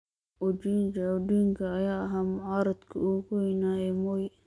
Oginga Odinga ayaa ahaa mucaaradkii ugu weynaa ee Moi.